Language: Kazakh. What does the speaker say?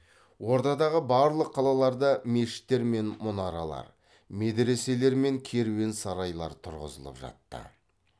ордадағы барлық қалаларда мешіттер мен мұнаралар медреселер мен керуен сарайлар тұрғызылып жатты